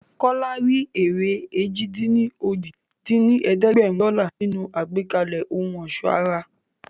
Kọ́lá rí èrè èjì-dín-ní-ojì dín ní ẹ̀ẹ́dẹ́gbẹ́rún dọ́là nínú àgbékalẹ̀ ohun ọ̀ṣọ́ ara